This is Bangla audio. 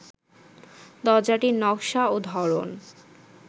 দরজাটির নকশা ও ধরন